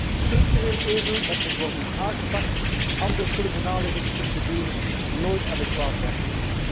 Dat is een structureel euvel dat moet worden aangepakt, anders zullen de nalevingsprocedures nooit adequaat werken.